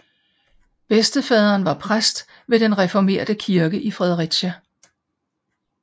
Bedstefaderen var præst ved den reformerte kirke i Fredericia